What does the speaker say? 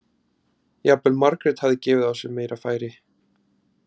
Jafnvel Margrét hafði gefið á sér meira færi.